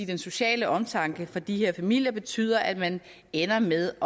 den sociale omtanke for de her familier betyder at man ender med